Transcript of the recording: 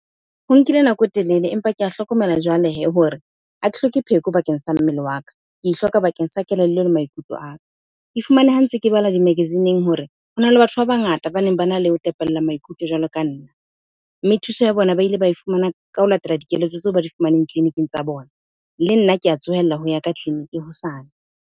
Ho nkile nako e telele empa ke a hlokomela jwale hee hore ha ke hloke pheko bakeng sa mmele wa ka, ke e hloka bakeng sa kelello le maikutlo a ka. Ke e fumane ha ntse ke bala di-magazine-eng hore hona le batho ba bangata baneng bana le ho tepella maikutlo jwalo ka nna. Mme thuso ya bona ba ile ba e fumana ka ho latela dikeletso tseo ba di fumaneng tleliniking tsa bona. Le nna ke a tsohella ho ya ka tleliniki hosane.